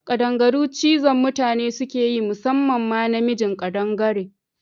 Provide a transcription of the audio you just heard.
Kaɗangaru cizon mutane sukeyi musamman ma na mijin ƙadangare